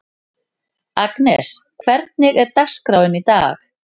Agnes, hvernig er dagskráin í dag?